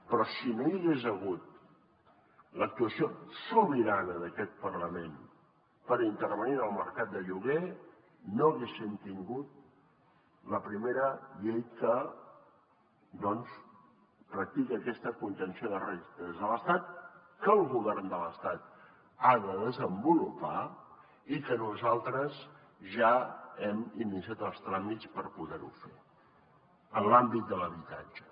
però si no hi hagués hagut l’actuació sobirana d’aquest parlament per intervenir en el mercat de lloguer no haguéssim tingut la primera llei que doncs practica aquesta contenció de rendes de l’estat que el govern de l’estat ha de desenvolupar i que nosaltres ja hem iniciat els tràmits per poder ho fer en l’àmbit de l’habitatge